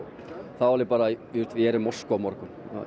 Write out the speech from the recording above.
þá bara ég er í Moskvu á morgun